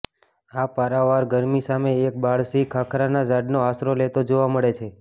આ પારાવાર ગરમી સામે એક બાળ સિંહ ખાખરાના ઝાડનો આશરો લેતો જોવા મળે છે